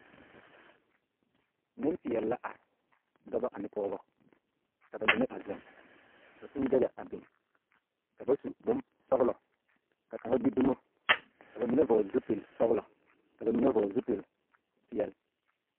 Nempeԑle la are, dͻbͻ ane pͻgebͻ. Ka ba mine a zeŋ, ka kũũ daga a biŋ. Ka ba su bonsͻgelͻ. Ka kaŋa gbi dumo ka ba mine vͻgele zupili-sͻgelͻ ka ba mine vͻgele zupili-peԑle.